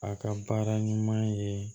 A ka baara ɲuman ye